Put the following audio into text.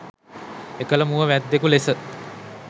එකල මුව වැද්දෙකු ලෙස